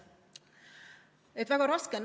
Nii et väga raske on.